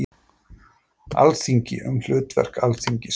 Alþingi- Um hlutverk Alþingis.